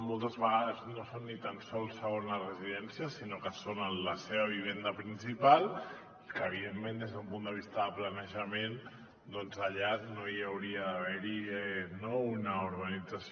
moltes vegades no són ni tan sols segones residències sinó que són la seva vivenda principal i evidentment des d’un punt de vista de planejament doncs allà no hi hauria d’haver una urbanització